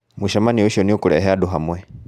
Mũcemanio ũcio nĩũkũrehe andũ hamwe